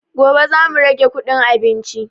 Gobe za mu rage kuɗin abinci